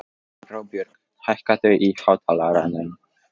Róbjörg, hækkaðu í hátalaranum.